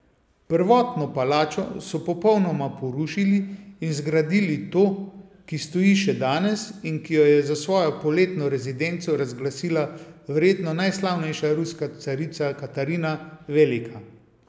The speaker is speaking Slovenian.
Prvotno palačo so popolnoma porušili in zgradili to, ki stoji še danes in ki jo je za svojo poletno rezidenco razglasila verjetno najslavnejša ruska carica Katarina Velika.